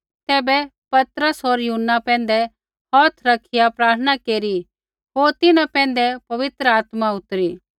तैबै पतरस होर यूहन्ना पैंधै हौथ रखिआ प्रार्थना केरी होर तिन्हां पैंधै पवित्र आत्मा उतरी